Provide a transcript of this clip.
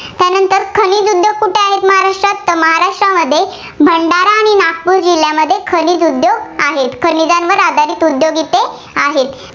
त्यामध्ये भंडारा आणि नागपूर जिल्ह्यामध्ये खनिज उद्योग आहेत. खनिजांवर आधारित उद्योग तिथे आहेत.